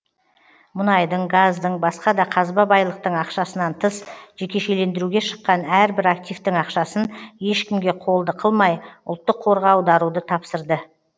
мұнайдың газдың басқа да қазба байлықтың ақшасынан тыс жекешелендіруге шыққан әрбір активтің ақшасын ешкімге қолды қылмай ұлттық қорға аударуды тапсырды